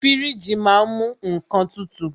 Fíríjì ma á ń mú nnkan tutù.